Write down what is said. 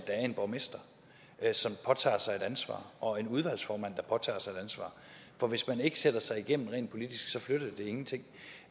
er en borgmester som påtager sig et ansvar og en udvalgsformand der påtager sig et ansvar for hvis man ikke sætter sig igennem rent politisk flytter det ingenting